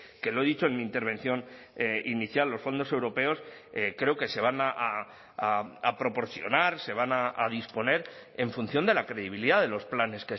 que lo he dicho en mi intervención inicial los fondos europeos creo que se van a proporcionar se van a disponer en función de la credibilidad de los planes